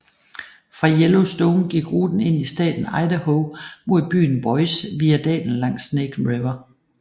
Fra Yellowstone gik ruten ind i staten Idaho mod byen Boise via dalen langs Snake River